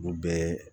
Olu bɛɛ